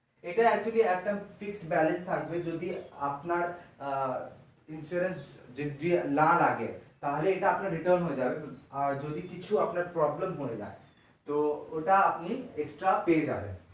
এটা actually একটা fixed balance থাকবে আপনার insurance যদি না লাগে তাহলে এটা আপনার return হয়ে যাবে আর যদি আপনার কিছু problem হয়ে যায় তো ওটা আপনি extra পেয়ে যাবেন।